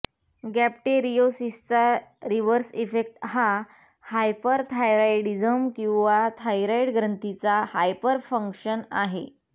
गॅपटेरियोसिसचा reverse effect हा hyperthyroidism किंवा thyroid ग्रंथीचा हायपरफंक्शन आहे